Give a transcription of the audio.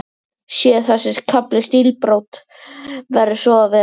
Sé þessi kafli stílbrot, verður svo að vera.